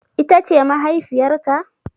Ita ce mahaifiyar ka?